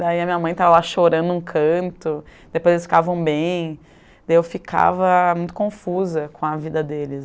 Daí a minha mãe estava lá chorando um canto, depois eles ficavam bem, e eu ficava muito confusa com a vida deles.